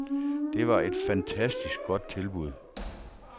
Det var et fantastisk godt tilbud.